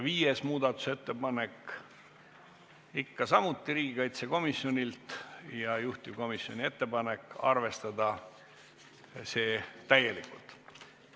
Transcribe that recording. Viies muudatusettepanek on ikka samuti riigikaitsekomisjonilt ja juhtivkomisjoni ettepanek on arvestada seda täielikult.